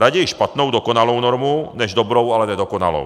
Raději špatnou dokonalou normu než dobrou, ale nedokonalou.